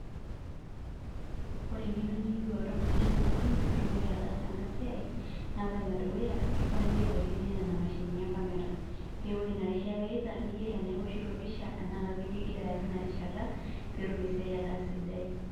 Ore engeno niyieu oltungani tenewueji pitumoki ataasa enasliai na ore enedukuya ifaa piyiolo aitumia nona mashinini e camera pee ore inarishata niyaita niyolo tanaa iwoshito pisha ana ka video ingira aya tinarishata petum esiai ataa sidai.